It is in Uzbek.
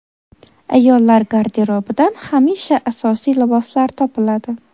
Ayollar garderobidan hamisha asosiy liboslar topiladi.